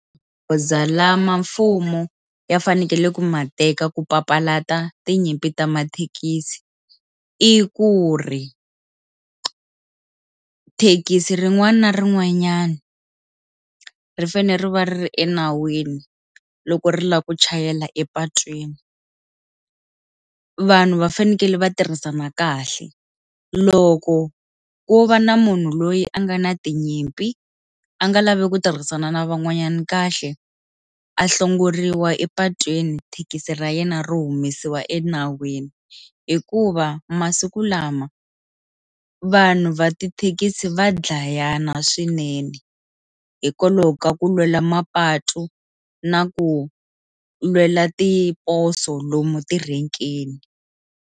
Goza lama mfumo ya fanekele ku ma teka ku papalata tinyimpi ta mathekisi i ku ri, thekisi rin'wana na rin'wanyana ri fanele ri va ri enawini loko ri lava ku chayela epatwini vanhu va fanekele va tirhisana kahle loko ku va na munhu loyi a nga na tinyimpi a nga lavi ku tirhisana na van'wanyana kahle a hlongoriwa epatwini thekisi ra yena ro humesiwa enawini hikuva masiku lama vanhu va tithekisi va dlayana swinene hikwalaho ka ku lwela mapatu na ku lwela tiposo lomu tirhekeni.